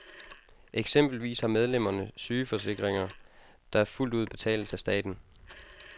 Eksempelvis har medlemmerne sygeforsikringer, der fuldt ud betales af staten.